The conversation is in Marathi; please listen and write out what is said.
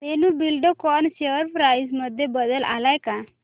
धेनु बिल्डकॉन शेअर प्राइस मध्ये बदल आलाय का